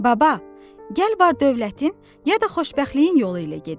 Baba, gəl var dövlətin, ya da xoşbəxtliyin yolu ilə gedək.